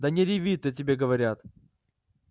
да не реви ты тебе говорят